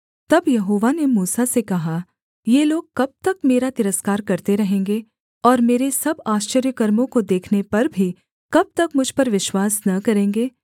तब यहोवा ने मूसा से कहा ये लोग कब तक मेरा तिरस्कार करते रहेंगे और मेरे सब आश्चर्यकर्मों को देखने पर भी कब तक मुझ पर विश्वास न करेंगे